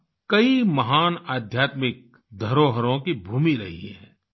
गोवा कई महान आध्यात्मिक धरोहरों की भूमि रही है